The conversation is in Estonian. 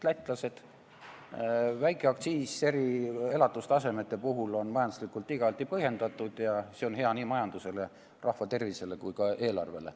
Läti madal aktsiis on nende keskmise elatustaseme puhul majanduslikult igati põhjendatud ja see on hea nii majandusele, rahva tervisele kui ka eelarvele.